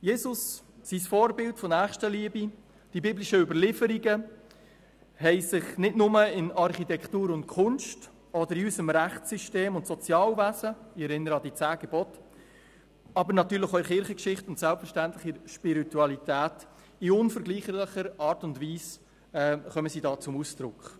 Jesus, sein Vorbild der Nächstenliebe und die biblischen Überlieferungen haben sich nicht nur in Architektur und Kunst oder in unserem Rechtssystem und Sozialwesen niedergeschlagen – ich erinnere an die zehn Gebote –, sie kommen natürlich auch in der Kirchengeschichte und selbstverständlich in der Spiritualität in unvergleichlicher Art und Weise zum Ausdruck.